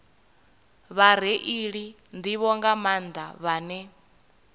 vhareili nḓivho nga maanḓa vhane